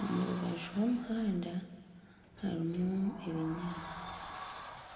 Omu rubaju rw'omuhanda harimu ebinyaatsi.